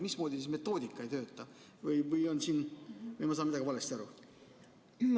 Mismoodi metoodika ei tööta või ma saan millestki valesti aru?